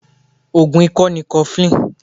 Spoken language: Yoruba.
Ogùn ikọ ni kofilini.